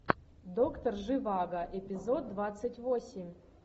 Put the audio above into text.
доктор живаго эпизод двадцать восемь